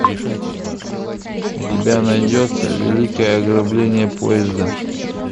у тебя найдется великое ограбление поезда